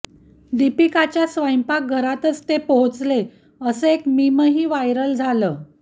दीपिकाच्या स्वयंपाकघताच ते पोहोचले असं एक मीमही व्हायरल झालं